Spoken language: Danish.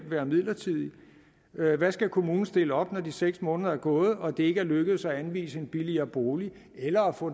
være midlertidig hvad skal kommunen stille op når de seks måneder er gået og det ikke er lykkedes at anvise en billigere bolig eller få